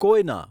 કોયના